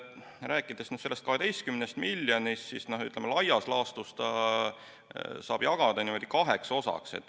Rääkides sellest 12 miljonist eurost, siis laias laastus saab selle jagada kaheks osaks.